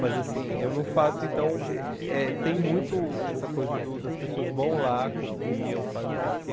Mas assim, eu não faço, então, eh tem muito essa coisa do das pessoas vão lá, copiam, fazem não sei o que,